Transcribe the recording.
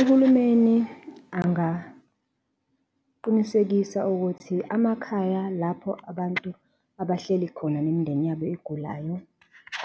Uhulumeni angaqinisekisa ukuthi amakhaya lapho abantu abahleli khona nemindeni yabo egulayo